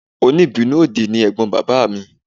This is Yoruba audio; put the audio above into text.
Òní ìbínú òdì ni ẹ̀gbọ́n bàbá mi